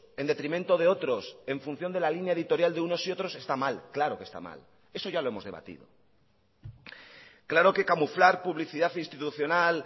en detrimento de otros en función de la línea editorial de unos y otros está mal claro que está mal eso ya lo hemos debatido claro que camuflar publicidad institucional